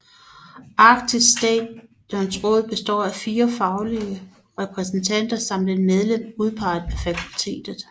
Arktisk Stations Råd består af fire faglige repræsentanter samt et medlem udpeget af fakultetet